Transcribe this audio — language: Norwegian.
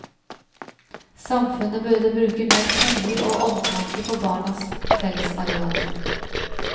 Samfunnet burde bruke mer penger og omtanke på barnas fellesarealer.